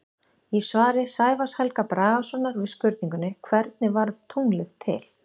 Í svari Sævars Helga Bragasonar við spurningunni Hvernig varð tunglið til?